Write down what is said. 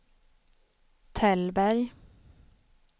Tällberg